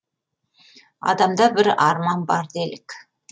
адамда бір арман бар делік